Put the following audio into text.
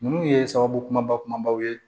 Ninnu ye sababu kumaba kumabaw ye